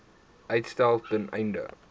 uitstel ten einde